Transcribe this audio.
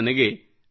ನನಗೆ ಅಲ್ಲಿ ಡಾ